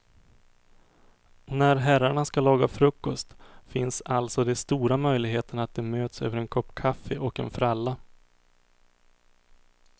När herrarna ska laga frukost finns alltså det stora möjligheter att de möts över en kopp kaffe och en fralla.